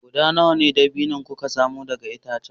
Guda nawa na dabino na dabino kuka samu daga itacen dabino